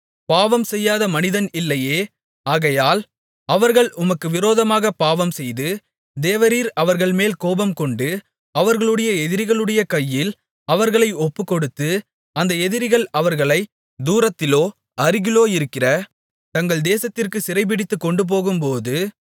பாவம் செய்யாத மனிதன் இல்லையே ஆகையால் அவர்கள் உமக்கு விரோதமாகப் பாவம்செய்து தேவரீர் அவர்கள்மேல் கோபம்கொண்டு அவர்களுடைய எதிரிகளுடைய கையில் அவர்களை ஒப்புக்கொடுத்து அந்த எதிரிகள் அவர்களைத் தூரத்திலோ அருகிலோ இருக்கிற தங்கள் தேசத்திற்குச் சிறைபிடித்துக் கொண்டுபோகும்போது